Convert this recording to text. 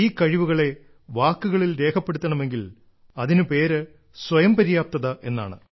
ഈ കഴിവുകളെ വാക്കുകളിൽ രേഖപ്പെടുത്തണമെങ്കിൽ അതിന് പേര് സ്വയംപര്യാപ്തത എന്നാണ്